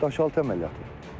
Daşaltı əməliyyatı.